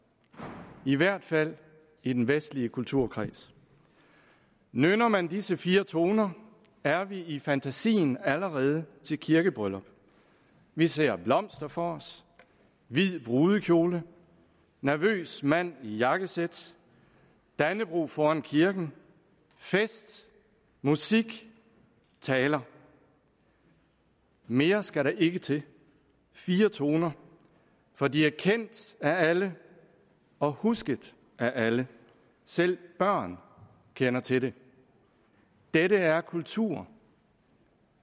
i hvert fald i den vestlige kulturkreds nynner man disse fire toner er vi i fantasien allerede til kirkebryllup vi ser blomster for os hvid brudekjole nervøs mand i jakkesæt dannebrog foran kirken fest musik taler mere skal der ikke til fire toner for de er kendt af alle og husket af alle selv børn kender til dem dette er kultur